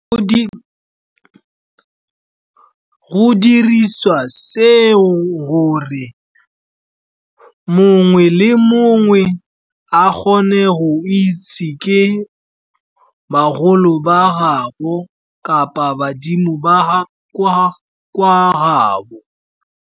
Go dirisiwa seo gore mongwe le mongwe a kgone go itse ke bagolo ba gaabo kapa badimo ba kwa gaabo.